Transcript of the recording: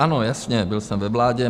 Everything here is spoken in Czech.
Ano, jasně, byl jsem ve vládě.